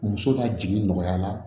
Muso ka jigin nɔgɔya la